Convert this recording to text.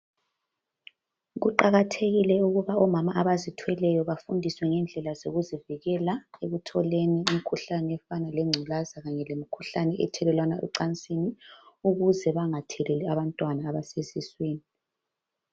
Kuqakathekile ukuba omama abazithweleyo bafundiswe ngendlela zokuzivikela ekutholeni imkhuhlane efana legculaza kanye lemkhuhlane ethelelwana ocansini, ukuze bangatheleli abantwana abasesiswini.